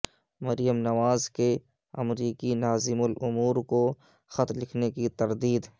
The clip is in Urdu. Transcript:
مریم نواز کے امریکی ناظم الامور کو خط لکھنے کی تردید